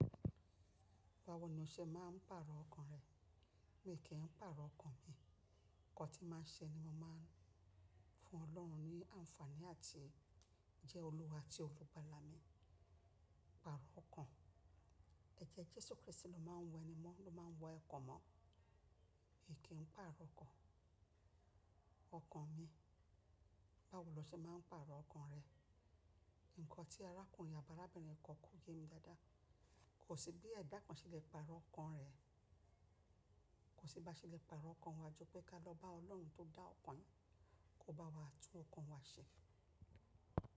Báwo ni o ṣe máa ń pàrọ̀ ọkàn rẹ? Mi kì í pàrọ̀ ọkàn mi. Ǹkan tí màá ṣe ni mo máa ń fún Ọlọ́run ní àǹfààní àti jẹ́ Olúwa àti olúgbàlà mi. Pàrọ̀ ọkàn. Ẹ jẹ́ Jésù Krístì ló máa ń wẹ ni mọ́, ló máa ń wẹ ọkàn mọ́. Mi kì í pàrọ̀ ọkàn, ọkàn mi. Báwo lo ṣe máa ń pàrọ̀ ọkàn rẹ? Ǹkan tí arákùnrin àbi arabinrin kan kò yé mi dáadáa. Kò sí bí ẹ̀dá kan ṣe lè pàrọ̀ ọkàn rẹ̀. Kò sí bá ṣe lè pàrọ̀ ọkàn wa ju pé ká lọ bá Ọlọ́run tó dá ọkàn, kó bá wa tún ọkàn wa ṣe.